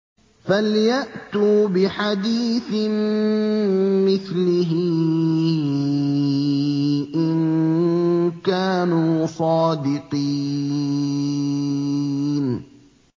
فَلْيَأْتُوا بِحَدِيثٍ مِّثْلِهِ إِن كَانُوا صَادِقِينَ